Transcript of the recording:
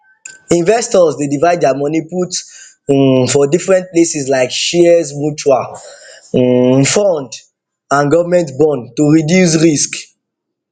investors dey divide their money put um for different places like shares mutual um fund and government bond to reduce risk